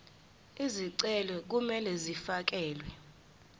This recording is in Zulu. izicelo kumele zifakelwe